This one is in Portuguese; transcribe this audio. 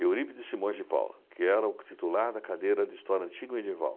Eurípides Simões de Paula, que era o titular da cadeira de História Antiga e Medieval.